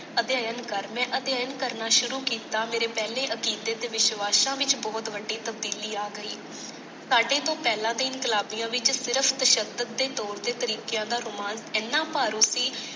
ਅਧਿਐਨ ਕਰ। ਮੈਂ ਅਧਿਐਨ ਕਰਨਾ ਸ਼ੁਰੂ ਕੀਤਾ ਮੇਰੇ ਪਹਿਲੇ ਅਤੀਤ ਦੇ ਵਿਸ਼ਵਾਸ਼ਾਂ ਵਿਚ ਬਹੁਤ ਵੱਡੀ ਤਬਦੀਲੀ ਆ ਗਈ। ਸਾਡੇ ਤੋਂ ਪਹਿਲਾਂ ਤੇ ਇਨਕਲਾਬੀਆਂ ਵਿਚ ਸਿਰਫ ਤਸ਼ਦਤ ਦੇ ਤੌਰ ਤੇ ਤਰੀਕਿਆਂ ਦਾ ਰੋਮਾਨ ਇਹਨਾ ਭਾਰੂ ਸੀ।